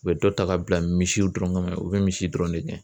U bɛ dɔ ta ka bila misiw dɔrɔn kama o bɛ misi dɔrɔn de gɛn